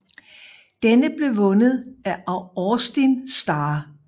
Denne blev vundet af Austin Starr